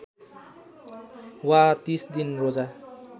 वा ३० दिन रोजा